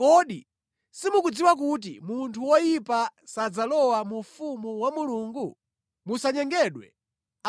Kodi simukudziwa kuti munthu woyipa sadzalowa mu ufumu wa Mulungu? Musanyengedwe: